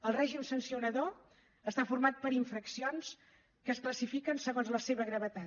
el règim sancionador està format per infraccions que es classifiquen segons la seva gravetat